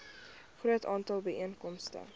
groot aantal byeenkomste